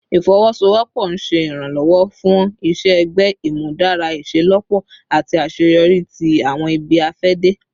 Ifowosowopo n ṣe iranlọwọ fun iṣẹ-ẹgbẹ, imudara iṣelọpọ ati aṣeyọri ti awọn ibi-afẹde